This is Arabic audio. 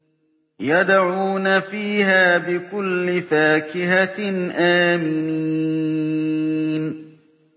يَدْعُونَ فِيهَا بِكُلِّ فَاكِهَةٍ آمِنِينَ